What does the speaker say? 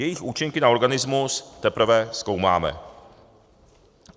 Jejich účinky na organismus teprve zkoumáme.